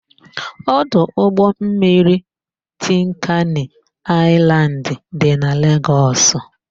Ọdụ ụgbọmmiri Tinkani Aịlandị dị na Legọs.